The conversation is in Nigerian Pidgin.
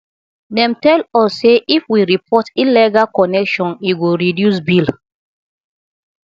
dem tell us sey if we report illegal connection e go reduce bill